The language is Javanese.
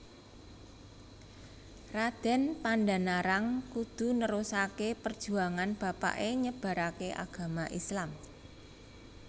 Raden Pandanarang kudhu nerusake perjuangan bapake nyebarake agama Islam